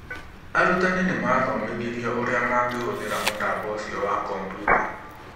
Arutani nĩ maathomithirio ũrĩa mangĩhũthĩra mũtambo ũcio wa kompiuta.